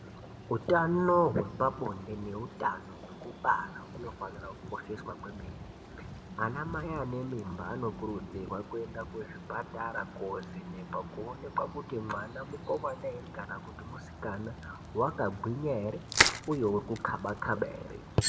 Utano hwepa bonde ne utano hwekubara huno fanira ku kosheswa kwemene ana mai ane mimbe anokurudzirwa kuenda ku zvipatara ko vhenekwa kuonekwa kuti mwana mukomana ere kana kuti musikana waka gwinya ere uye uri kukaba kaba ere.